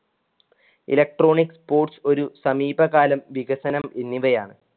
electronic sports ഒരു സമീപകാലം വികസനം എന്നിവയാണ്.